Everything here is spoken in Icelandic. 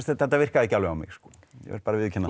þetta virkaði ekki alveg á mig ég verð að viðurkenna